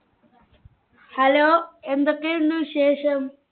Hello എന്തൊക്കെയുണ്ട് വിശേഷം?